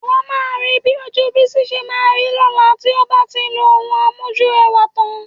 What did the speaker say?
Ìwọ máa rí bí ojú Bísí ṣe máa rí lọ́la tí ó bá ti lo ohun amójúrẹwà tán